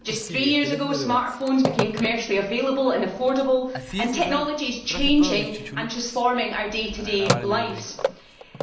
just three years ago smartphones became commercially available and affordable, and technology is changing and transforming our day to day lives.